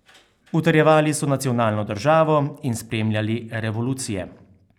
Utrjevali so nacionalno državo in spremljali revolucije.